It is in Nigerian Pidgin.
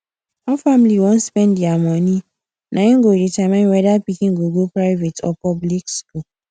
how family wan spend their money na im go determine whether pikin go go private or public school